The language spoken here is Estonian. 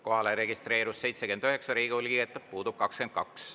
Kohale registreerus 79 Riigikogu liiget, puudub 22.